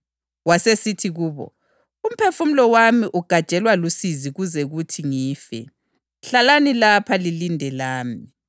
Wathatha uPhethro lamadodana kaZebhediya womabili wahamba labo, waseqala ukuhlulukelwa lokukhathazeka.